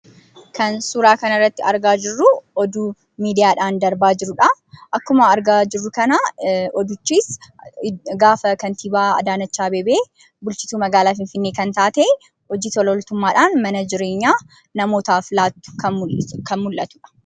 Kan suuraa kana irratti argaa jirruu, Oduu miidiyaadhaan darbaa jirudha. Akkuma argaa jirru kanaa hojichis gaafa kantiibaa Addaanech Abeebee bulchiinsa magaalaa Finfinnee kan taate hojii tola ooltummaadhaan mana jireenyaa namootaaf laattu kan mul'atudha.